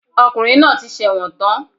Ọkùnrin náà ti sẹ̀wọ̀n tán